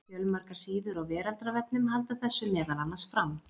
Fjölmargar síður á Veraldarvefnum halda þessu meðal annars fram.